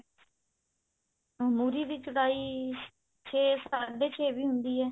ਮੁਰ੍ਹੀ ਦੀ ਚੜੀ ਛੇ ਸਾਢੇ ਛੇ ਵੀ ਹੁੰਦੀ ਹੈ